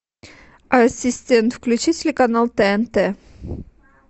ассистент включи телеканал тнт